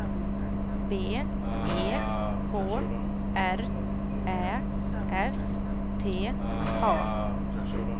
B E K R Ä F T A